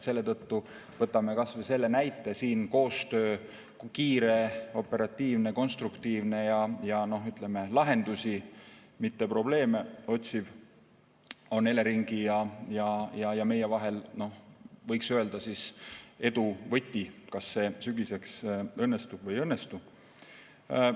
Selle tõttu võtame kas või selle näite, et kiire, operatiivne, konstruktiivne ja ütleme, lahendusi, mitte probleeme otsiv koostöö Eleringi ja meie vahel, võiks öelda, on edu võti, kas see sügiseks õnnestub või ei õnnestu.